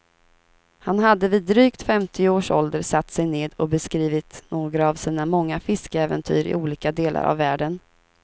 Han hade vid drygt femtio års ålder satt sig ned och beskrivit några av sina många fiskeäventyr i olika delar av världen.